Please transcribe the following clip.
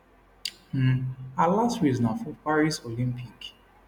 um her last race na for paris olympic